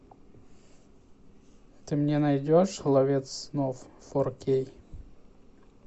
ты мне найдешь ловец снов фор кей